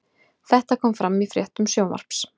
Þetta kom fram í fréttum Sjónvarps